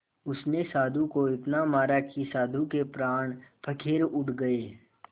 उसने साधु को इतना मारा कि साधु के प्राण पखेरु उड़ गए